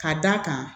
Ka d'a kan